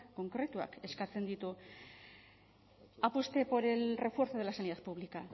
konkretuak eskatzen ditu apueste por el refuerzo de la sanidad pública